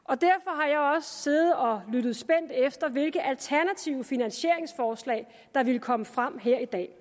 og siddet og lyttet spændt efter hvilke alternative finansieringsforslag der ville komme frem her i dag